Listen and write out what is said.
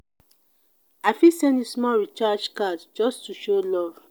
i fit send you small recharge card just to show love.